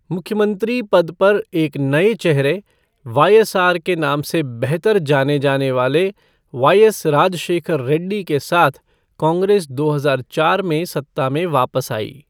मुख्यमंत्री पद पर एक नए चेहरे, वाईएसआर के नाम से बेहतर जाने जाने वाले वाईएस राजशेखर रेड्डी के साथ कांग्रेस दो हजार चार में सत्ता में वापस आई।